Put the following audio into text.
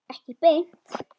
Ekki beint